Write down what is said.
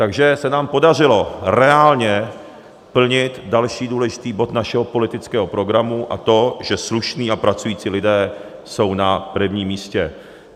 Takže se nám podařilo reálně plnit další důležitý bod našeho politického programu, a to, že slušní a pracující lidé jsou na prvním místě.